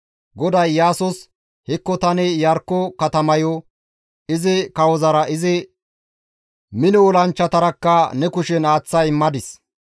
GODAY Iyaasos, «Hekko tani Iyarkko katamayo izi kawozara izi mino olanchchatarakka ne kushen aaththa immadis.